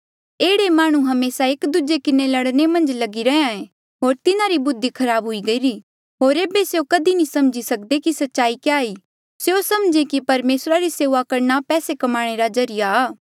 एह्ड़े माह्णुंआं हमेसा एक दूजे किन्हें लड़ने मन्झ लगी रैहया होर तिन्हारी बुद्धि खराब हुई गईरी होर ऐबे स्यों कधी नी समझी सकदे कि सच्चाई क्या ई स्यों समझे कि परमेसरा री सेऊआ करणा पैसे कमाणे रा जरिया